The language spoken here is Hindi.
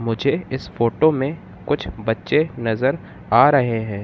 मुझे इस फोटो में कुछ बच्चे नजर आ रहे हैं।